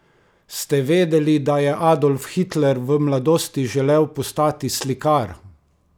Ste vedeli, da je Adolf Hitler v mladosti želel postati slikar?